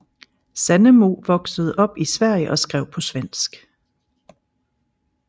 Sandemo voksede op i Sverige og skrev på svensk